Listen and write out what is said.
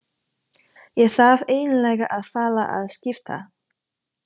Ég þarf eiginlega að fara að skipta.